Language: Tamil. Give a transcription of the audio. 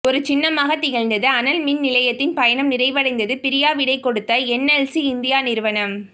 ஒரு சின்னமாகத் திகழ்ந்தது அனல் மின்நிலையத்தின் பயணம் நிறைவடைந்தது பிரியாவிடை கொடுத்த என்எல்சி இந்தியா நிறுவனம்